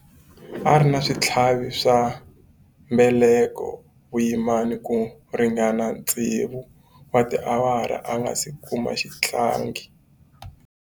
A ri na switlhavi swa mbeleko vuyimani ku ringana tsevu wa tiawara a nga si kuma xihlangi.